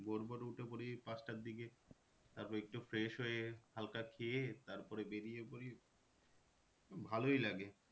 ভোর ভোর উঠে পরি ওই পাঁচটার দিকে তারপর একটু fresh হয়ে হালকা খেয়ে তারপরে বেরিয়ে পরি উম ভালোই লাগে।